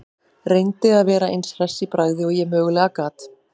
Reyndi að vera eins hress í bragði og ég mögulega gat.